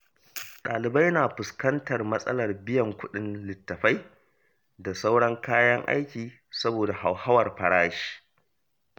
Ɗalibai na fuskantar matsalar biyan kuɗin littattafai da sauran kayan aiki saboda hauhawar farashi.